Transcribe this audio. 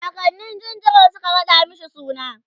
kakannin jinjirin Suka raɗa mashi suna